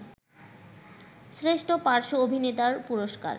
শ্রেষ্ঠ পার্শ্ব অভিনেতার পুরস্কার